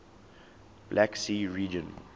black sea region